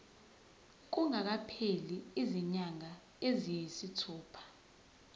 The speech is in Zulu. kungakapheli izinyanga eziyisithupha